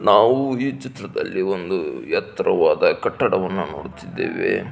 ನಾವು ಈ ಚಿತ್ರದಲ್ಲಿ ಒಂದು ಎತ್ತರವಾದ ಕಟ್ಟಡವನ್ನು ನೋಡುತ್ತಿದ್ದೇವೆ.